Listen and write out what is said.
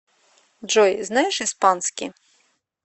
джой знаешь испанский